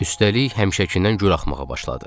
Üstəlik həmişəkindən gür axmağa başladı.